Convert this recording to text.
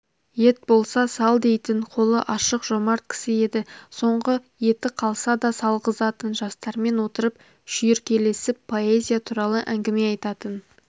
ет болса сал дейтін қолы ашық жомарт кісі еді соңғы еті қалса да салғызатын жастармен отырып шүйіркелесіп поэзия туралы әңгіме айтатын